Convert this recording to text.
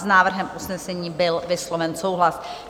S návrhem usnesení byl vysloven souhlas.